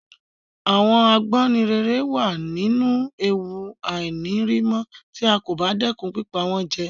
Àwon Àgbáǹréré wa nínú ewu àìnírimó tí a kò bá dẹ́kun pípa wón jẹ